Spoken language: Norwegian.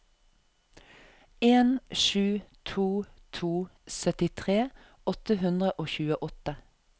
en sju to to syttitre åtte hundre og tjueåtte